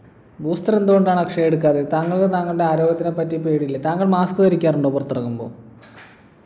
booster എന്തുകൊണ്ടാണ് അക്ഷയ് എടുക്കാതെ താങ്കൾ താങ്കളുടെ ആരോഗ്യത്തെ പറ്റി പേടി ഇല്ലെ താങ്കൾ mask ധരിക്കാറുണ്ടോ പുറത്തിറങ്ങുമ്പോ